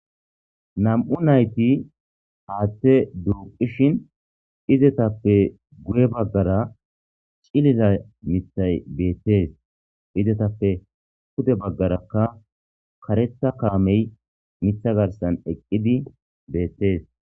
Nam'u nayti haththe duqishin izettape iizattappe guuya baggara ciilila miththay bettes izzetappe puude baggaraka kareththa kaamey miththa garssan eqqi bettes.